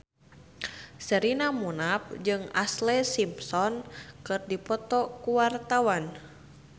Sherina Munaf jeung Ashlee Simpson keur dipoto ku wartawan